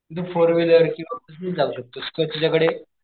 तिकडं four wheeler किंवा bus नेच जाऊ शकतोस किंवा तुझ्या कडे,